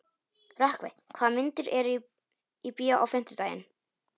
Rökkvi, hvaða myndir eru í bíó á fimmtudaginn?